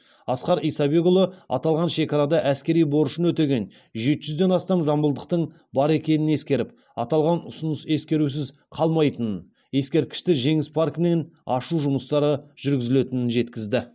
асқар исабекұлы аталған шекарада әскери борышын өтеген жеті жүзден астам жамбылдықтың бар екенін ескеріп аталған ұсыныс ескерусіз қалмайтынын ескерткішті жеңіс паркінен ашу жұмыстары жүргізілетін жеткізді